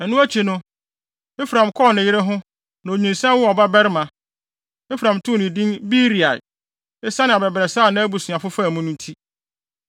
Ɛno akyi no, Efraim kɔɔ ne yere ho, na onyinsɛn woo ɔbabarima. Efraim too no din Beria esiane abɛbrɛsɛ a nʼabusuafo faa mu no nti.